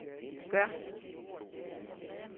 gør